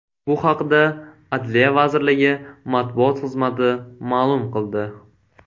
Bu haqda Adliya vazirligi matbuot xizmati ma’lum qildi .